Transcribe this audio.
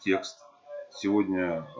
текст сегодня